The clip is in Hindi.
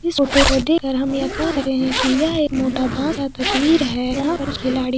इस फोटो को देककर हम ये कहरहे है की यह एक मोटा भँस तस्वीर है।